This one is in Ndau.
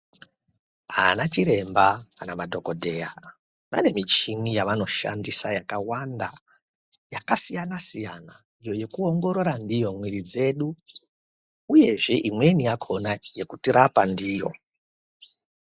Ana chiremba kana madhokodheya vane mishini yaanoshandisa yakawanda yakasiyana siyana yekuongorora ndiyo muwiri dzedu uye imweni yakona yekuti rapa ndiyo.